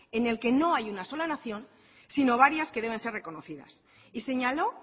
en el que no hay una sola nación sino varias que deben estar reconocidas y señaló